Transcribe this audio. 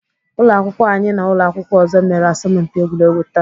Ụlọakwụkwọ anyị na ụlọakwụkwọ ọzọ mere asọmpi egwuregwu taa